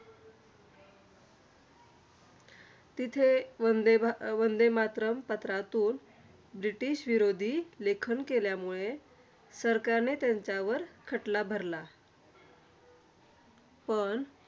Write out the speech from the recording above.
तिथे वंदे भा वंदे मातरम पत्रातून, ब्रिटिश विरोधी लेखन केल्यामुळे सरकारने त्यांच्यावर खटला भरला. पण